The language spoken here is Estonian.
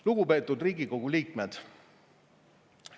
Lugupeetud Riigikogu liikmed!